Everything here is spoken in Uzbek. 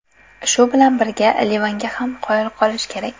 Shu bilan birga Livanga ham qoyil qolish kerak.